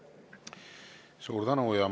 Suur tänu!